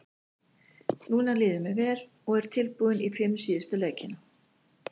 Núna líður mér vel og er tilbúinn í fimm síðustu leikina.